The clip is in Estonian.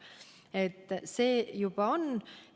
Nii et see kohustus meil juba on.